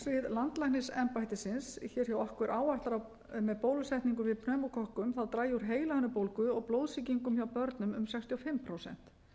á okkur áætlar að með bólusetningum við pneumókokkum dragi úr heilahimnubólgu og blóðsýkingum hjá börnum um sextíu og fimm prósent